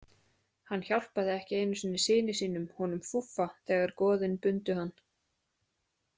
Hann hjálpaði ekki einu sinni syni sínum, honum Fúffa, þegar goðin bundu hann.